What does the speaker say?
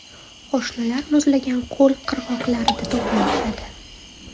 Qo‘shinlar muzlagan ko‘l qirg‘oqlarida to‘planishadi.